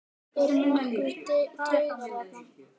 Eru nokkrir draugar þarna?